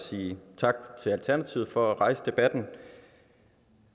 at sige tak til alternativet for at rejse debatten